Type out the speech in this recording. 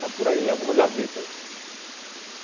Está por aí, em alguma gaveta aí.